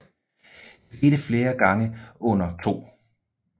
Det skete flere gange under 2